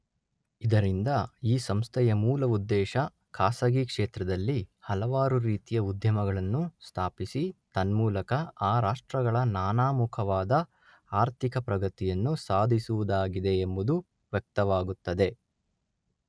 ಇದರಿಂದ ಈ ಸಂಸ್ಥೆಯ ಮೂಲ ಉದ್ದೇಶ ಖಾಸಗಿ ಕ್ಷೇತ್ರದಲ್ಲಿ ಹಲವಾರು ರೀತಿಯ ಉದ್ಯಮಗಳನ್ನು ಸ್ಥಾಪಿಸಿ ತನ್ಮೂಲಕ ಆ ರಾಷ್ಟ್ರಗಳ ನಾನಾ ಮುಖವಾದ ಆರ್ಥಿಕಪ್ರಗತಿಯನ್ನು ಸಾಧಿಸುವುದಾಗಿದೆ ಎಂಬುದು ವ್ಯಕ್ತವಾಗುತ್ತದೆ.